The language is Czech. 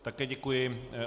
Také děkuji.